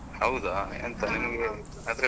ಹೌದಾ. ಹಾ ಹಾ ಹೌದು. ಎಂತ ನಿಮ್ಗೆ.